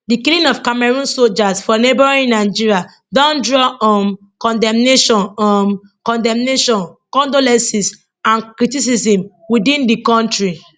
di killing of cameroon sojas for neighbouring nigeria don draw um condemnation um condemnation condolences and criticism within di kontri